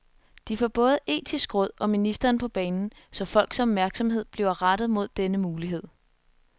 De får både etisk råd og ministeren på banen, så folks opmærksomhed bliver rettet mod denne mulighed.